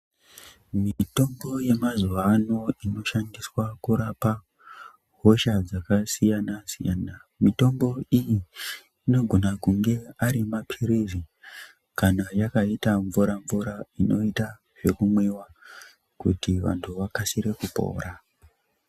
Mitombo yemazuwa ano inoshandiswa kurapa hosha dzakasiyanasiyana ,mitombo iyi inogona kunge ari mapilizi kana yakaite mvura mvura inoita zvekumwiwa kuti anhu akasike kupora.